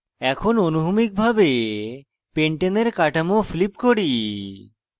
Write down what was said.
এখন অনুভূমিকভাবে pentane এর কাঠামো flip করি